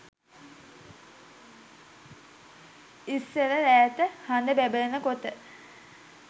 ඉස්සර රෑට හඳ බැබලෙනකොට